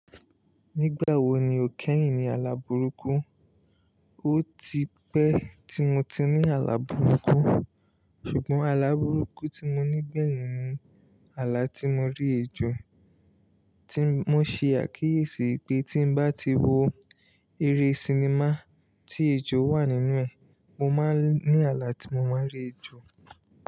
Nígbà wo ni o kẹ́yìn ní ala burúkú? O tipẹ́ tí mo ti ní ala burúkú, ṣùgbọ́n ala burúkú tí mo ní gbẹ̀yìn ni ala tí mo rí ejò, tí mo ṣe àkíyèsí pé tí bá ti wo eré sinimá tí ejò wà nínú ẹ̀, mo máa ní ala tí mo máa rí ejò.